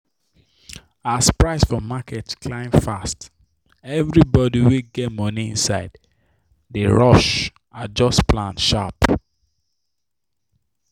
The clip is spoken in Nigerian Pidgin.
as price for market climb fast everybody wey get money inside dey rush adjust plan sharp.